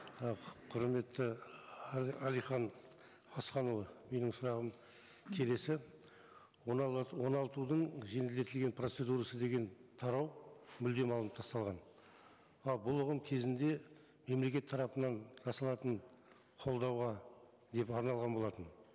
і құрметті әлихан асханұлы менің сұрағым келесі оңалтудың жеңілдетілген процедурасы деген тарау мүлдем алынып тасталған ал бұл оған кезінде мемлекет тарапынан жасалатын қолдауға деп арналған болатын